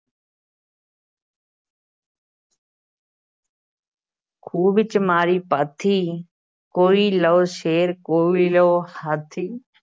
ਖੂਹ ਵਿੱਚ ਮਾਰੀ ਪਾਥੀ ਕੋਈ ਲਓ ਸ਼ੇਰ ਕੋਈ ਲਓ ਹਾਥੀ।